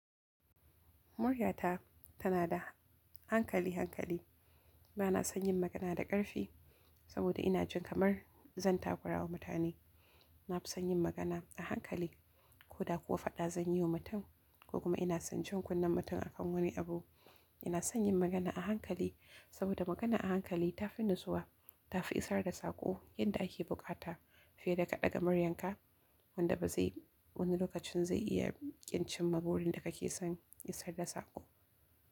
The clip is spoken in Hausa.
Muryata tana da hankali, hankali. Bana son yin magana da ƙarfi saboda ina jin kamar zan takura wa mutane. Na fi son yin magana a hankali. Ko da kuwa faɗa zan yi wa mutum ko kuma ina son jin kunnen mutum a kan wani abu, ina son yin magana a hankali saboda magana a hankali ta fi natsuwa, ta fi isar da sako yadda ake buƙata fiye da ka ɗaga muryarka wanda ba zai wani lokacin zai iya ƙin cin magudin da kake son ya isar da sako.